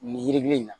Nin yiri in na